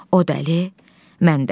O dəli, mən dəli.